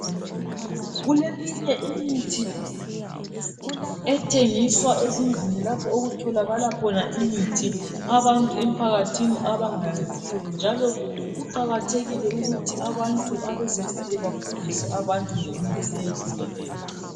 kuleminye imithi ethengiswa ezindlini lapho okutholakala khona imithi abantu emphakathini abangayaziyo njalo kuqakathekile ukuthi abantu abezimpilo befundise abantu ngemithi eyehlukeneyo